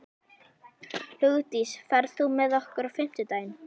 Hugdís, ferð þú með okkur á fimmtudaginn?